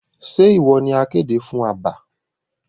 Ṣe iwọ ni akéde fún àbá?